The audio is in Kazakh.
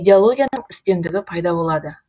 идеологияның үстемдігі пайда болады